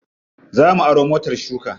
Za mu aro motar shuka.